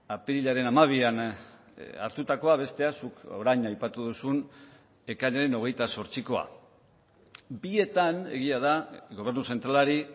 apirilaren hamabian hartutakoa bestea zuk orain aipatu duzun ekainaren hogeita zortzikoa bietan egia da gobernu zentralari